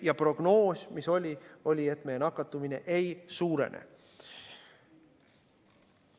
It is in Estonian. Ja prognoos, mis oli, oli, et meie nakatumine ei suurene.